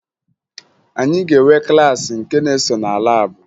Anyị ga-enwe klaasị nke na-eso na laabụ